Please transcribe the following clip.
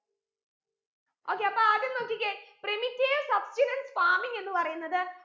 okay അപ്പൊ ആദ്യം നോക്കിക്കേ primitive substenance farming എന്ന് പറയുന്നത്